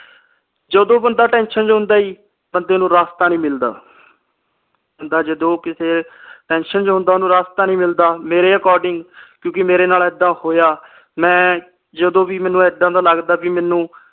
ਜਦੋ ਬੰਦਾ tension ਵਿਚ ਹੁੰਦਾ ਜੀ ਬੰਦੇ ਨੂੰ ਰਾਸਤਾ ਨਹੀਂ ਮਿਲਦਾ ਬੰਦਾ ਜਦੋ ਕਿਸੇ tension ਚ ਹੁੰਦਾ ਓਹਨੂੰ ਰਾਸਤਾ ਨਹੀਂ ਮਿਲਦਾ ਮੇਰੇ according ਕਿਉਂ ਕੇ ਮੇਰੇ ਨਾਲ ਏਦਾ ਹੋਇਆ ਮੈ ਜਦੋ ਵੀ ਮੈਨੂੰ ਏਦਾਂ ਦਾ ਲਗਦਾ ਬੀ ਮੈਨੂੰ